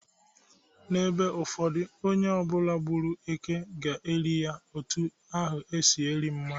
N'ebe ụfọdụ, onye ọbụla gbụrụ èkè ga-eli ya otu ahụ esi eli mmadu.